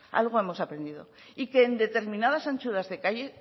aquí algo hemos aprendido y que en determinadas anchuras de calle